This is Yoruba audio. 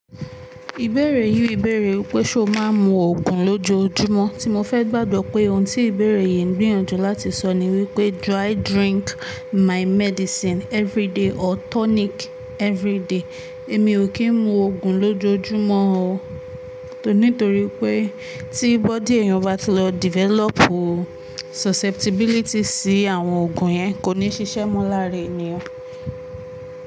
Ìbéèrè yìí bèèrè wípé ṣe o máa ń mu òògùn lójoojúmọ́. Tí mo fẹ́ gbàgbọ́ pé ohun tí ìbéèrè yìí ń gbìyànjú láti sọ ni wípé do I drink my medicine everyday or tonic everyday. Èmi ò kí ń mu òògùn lójoojúmọ́ o. Nítorí pé tí body èèyàn bá ti lọ develop susceptibility sí àwọn òògùn yẹn kò ní ṣiṣẹ́ mọ́ láàárín èèyàn.